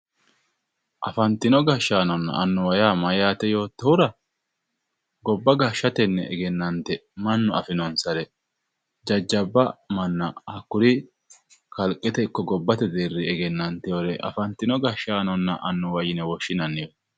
Anfatino gashshaanonna annuwa yaa mayyaate yottohura, gobba gashshsatenni egennante mannu afinonsare jajjabba manna hakkuri kalqete ikko gobbate deerrinni egennanteyoore afantino gashshaanonna annuwa yine woshshinanniwe.